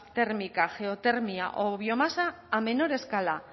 térmica geotérmica geotermia o biomasa a menor escala